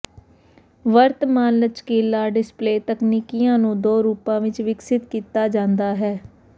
ਵਰਤਮਾਨ ਲਚਕੀਲਾ ਡਿਸਪਲੇਅ ਤਕਨੀਕੀਆਂ ਨੂੰ ਦੋ ਰੂਪਾਂ ਵਿੱਚ ਵਿਕਸਤ ਕੀਤਾ ਜਾਂਦਾ ਹੈ